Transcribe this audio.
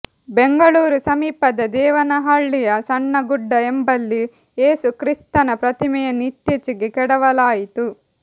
ಬೆಂಗಳೂರು ಸಮೀಪದ ದೇವನಹಳ್ಳಿಯ ಸಣ್ಣ ಗುಡ್ಡ ಎಂಬಲ್ಲಿ ಏಸು ಕ್ರಿಸ್ತನ ಪ್ರತಿಮೆಯನ್ನು ಇತ್ತೀಚೆಗೆ ಕೆಡವಲಾಯಿತು